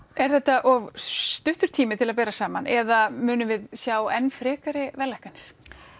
er þetta of stuttur tími til að bera saman eða munum við sjá enn frekari verðlækkanir